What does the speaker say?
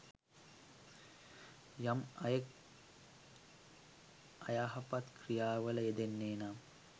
යම් අයෙක් අයහපත් ක්‍රියාවල යෙදෙන්නේ නම්